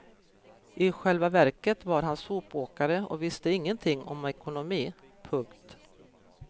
I själva verket var han sopåkare och visste ingenting om ekonomi. punkt